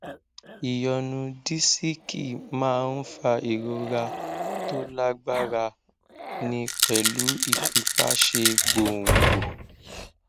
ìyọnu disiki máa ń fa ìrora tó lágbára ní pẹlú ìfipáṣe gbòǹgbò